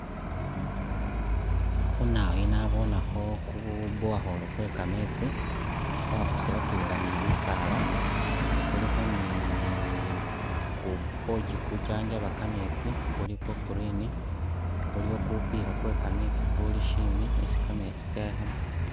Khunawoyu nabonekho ku borehole kwe kameetsi bakuselakilila ni bisaala ,kulikho nii ni ku pochi kujanjaba kameetsi kuli kwa green, kuliyo kupila kwe kameetsi kuli shimbi isi kameetsi kekhamo